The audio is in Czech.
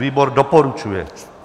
Výbor doporučuje.